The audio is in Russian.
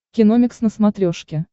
киномикс на смотрешке